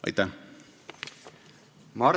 Aitäh!